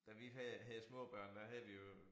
Da vi havde havde små børn der havde vi jo